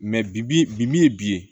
bi bi min ye bi ye